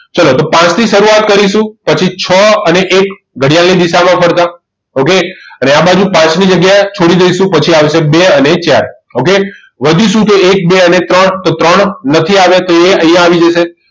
તો ચાલો પાંચથી શરૂઆત કરીશું પછી છ અને એક ઘડિયાળની દિશામાં ફરતા okay અને આ બાજુ પાંચની જગ્યા છોડી દઈશું પછી આવશે બે અને ચાર okay વધ્યું શું એક બે અને ત્રણ તો ત્રણ નથી આવી તે અહીં આવી જશે